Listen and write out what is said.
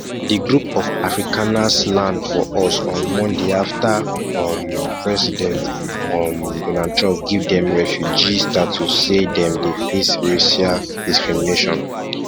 di group of afrikanersland for us on mondayafta um president um donald trump give dem refugee status say dem dey face racial discrimination